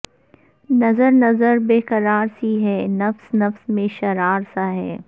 نظر نظر بیقرار سی ہے نفس نفس میں شرار سا ہے